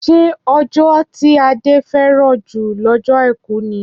Ṣé ọjọ́ tí Ade fẹ́ràn jù lọ́jọ́ Àìkú ni?